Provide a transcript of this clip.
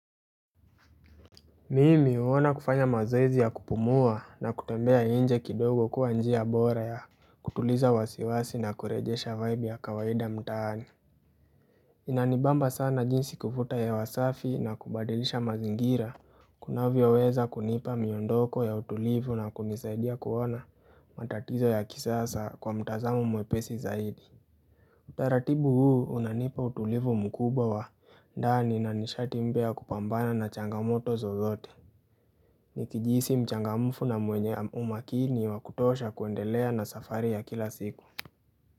Mimi huona kufanya mazoezi ya kupumua na kutembea inje kidogo kuwa njia bora ya kutuliza wasiwasi na kurejesha vaibu ya kawaida mtaani Inanibamba sana jinsi kuvuta hewa safi na kubadilisha mazingira kunavyoweza kunipa miondoko ya utulivu na kunisaidia kuona matatizo ya kisasa kwa mtazamo mwepesi zaidi Utaratibu huu unanipa utulivu mkubwa wa ndani na nishati mpya wa kupambana na changamoto zozote Nikijihisi mchangamfu na mwenye umakini wa kutosha kuendelea na safari ya kila siku.